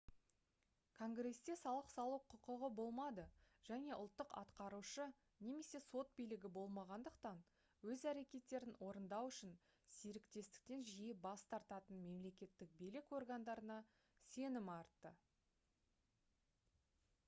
конгресте салық салу құқығы болмады және ұлттық атқарушы немесе сот билігі болмағандықтан өз әрекеттерін орындау үшін серіктестіктен жиі бас тартатын мемлекеттік билік органдарына сенім артты